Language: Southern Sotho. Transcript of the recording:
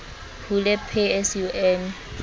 hule pay as you earn